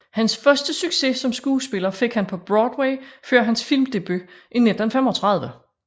Hans første succes som skuespiller fik han på Broadway før hans filmdebut i 1935